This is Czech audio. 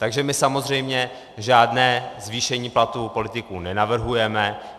Takže my samozřejmě žádné zvýšení platů politiků nenavrhujeme.